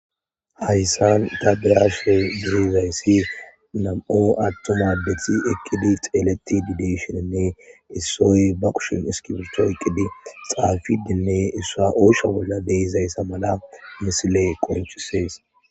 Hayisan ta beashe deizayisi namu atu'm adde eqidi dizayis nam'u atumma adde nayiti xeletide deishin issoy bakushen iskibirto oyikidi xafidiene issua oyisho bola deizayisa mala missile qoncises.